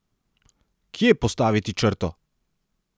Kje postaviti črto?